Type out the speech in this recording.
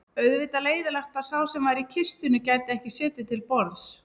Auðvitað leiðinlegt að sá sem var í kistunni gæti ekki setið til borðs